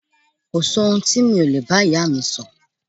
Kò sí ohun tí mi ò lè bá ìyáà mi sọ.